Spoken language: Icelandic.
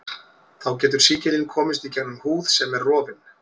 Þá getur sýkillinn komist gegnum húð sem er rofin.